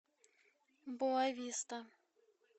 боа виста